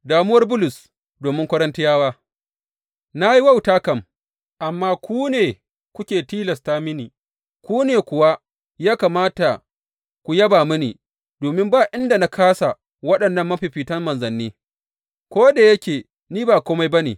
Damuwar Bulus domin Korintiyawa Na yi wauta kam, amma ku ne kuke tilasta mini, ku ne kuwa ya kamata ku yaba mini, domin ba inda na kāsa waɗannan mafiffitan manzanni, ko da yake ni ba kome ba ne.